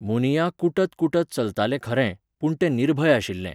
मुनिया कुटतकुटत चलतालें खरें, पूण तें निर्भय आशिल्लें.